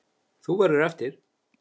Þú verður eftir.